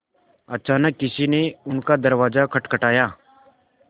अचानक किसी ने उनका दरवाज़ा खटखटाया